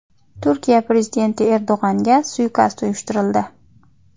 Turkiya prezidenti Erdo‘g‘anga suiqasd uyushtirildi .